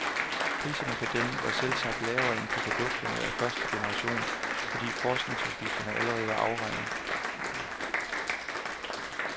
Priserne på dem var selvsagt lavere end på produkter af første generation, fordi forskningsudgifterne allerede var afregnet.